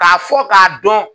K'a fɔ k'a dɔn